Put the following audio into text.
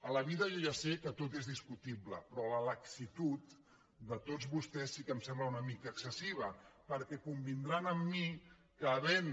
a la vida jo ja sé que tot és discutible però la laxitud de tots vostès sí que em sembla una mica excessiva perquè convindran amb mi que havent